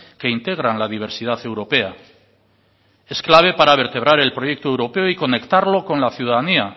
que integran la diversidad europea es clave para vertebrar el proyecto europeo y conectarlo con la ciudadanía